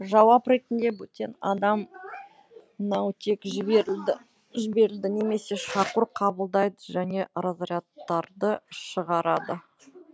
жауап ретінде бөтен адам наутек жіберіледі немесе шақыру қабылдайды және разрядтарды шығарады